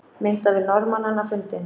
Myndavél Norðmannanna fundin